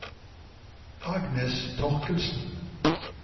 Agnes Thorkildsen